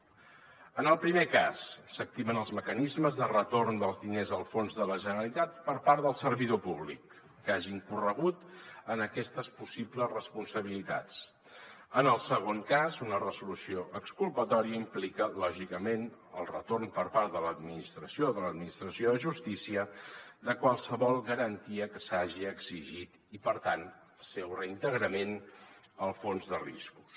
en el primer cas s’activen els mecanismes de retorn dels diners al fons de la generalitat per part del servidor públic que hagi incorregut en aquestes possibles responsabilitats en el segon cas una resolució exculpatòria implica lògicament el retorn per part de l’administració de justícia de qualsevol garantia que s’hagi exigit i per tant el seu reintegrament al fons de riscos